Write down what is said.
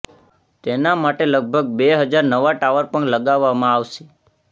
તેના માટે લગભગ બે હજાર નવા ટાવર પણ લગાવવામાં આવશે